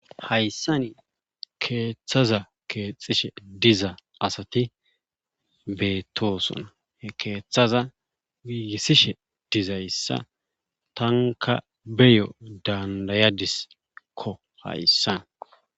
Hayssani keeththaza keexxishe diza asati beettoosona he keethaza giigissishe dizayssa tankka beyo dandayadiskko hayssan.